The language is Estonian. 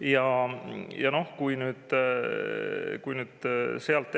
Mõtleme sealt nüüd edasi.